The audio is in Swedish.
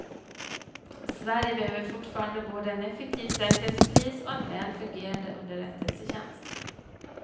Sverige behöver fortfarande både en effektiv säkerhetspolis och en väl fungerande underrättelsetjänst.